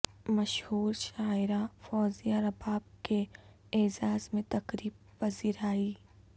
مشہور شاعرہ فوزیہ رباب کے اعزاز میں تقریب پذیرائی